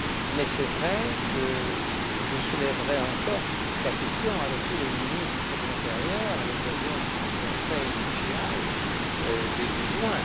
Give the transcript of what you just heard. Mais je soulèverai encore la question avec tous les ministres de l'intérieur, à l'occasion du Conseil JAI début juin.